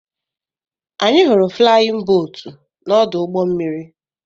Anyị hụrụ flayin bootu na-ọdụ ụgbọ mmiri.